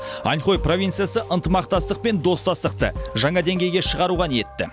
аньхой провинциясы ынтымақтастық пен достастықты жаңа деңгейге шығаруға ниетті